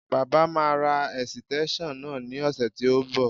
Baba máa ra ẹ̀sìtẹ́ńṣọ̀n náà ní ọ̀sẹ̀ tí ó ń bọ̀